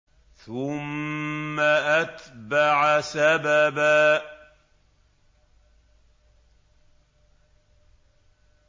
ثُمَّ أَتْبَعَ سَبَبًا